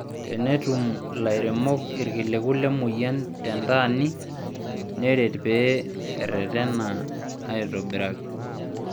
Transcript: Tenetum lairemok irkiliku lemoyian tentaani, neret pee eretena aitobiraki